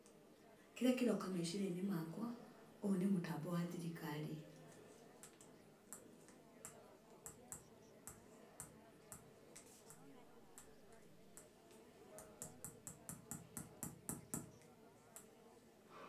Kĩrĩa kĩroka meciriainĩ makwa ũyũ ni mutambo wa thirikari.